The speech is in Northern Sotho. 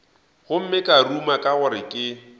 gomme ka ruma gore ke